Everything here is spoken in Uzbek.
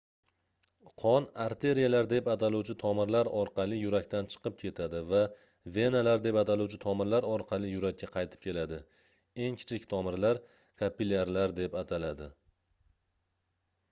qon arteriyalar deb ataluvchi tomirlar orqali yurakdan chiqib ketadi va venalar deb ataluvchi tomirlar orqali yurakka qaytib keladi eng kichik tomirlar kapillyarlar deb ataladi